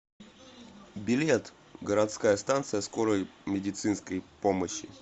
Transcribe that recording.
билет городская станция скорой медицинской помощи